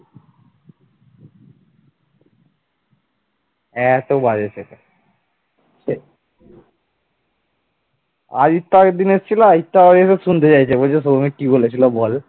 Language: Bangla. এত বাজে ছেলে। আদিত্য আগের দিন এসেছিল আদিত্য শুনতে চাইছে যে সৌমিক কি বলেছিল বল,